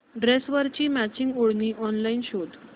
ड्रेसवरची मॅचिंग ओढणी ऑनलाइन शोध